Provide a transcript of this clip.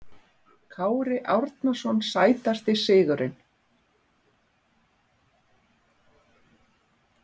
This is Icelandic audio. Kári Árnason Sætasti sigurinn?